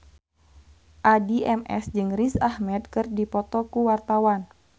Addie MS jeung Riz Ahmed keur dipoto ku wartawan